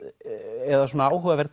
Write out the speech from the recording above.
eða svona áhugaverð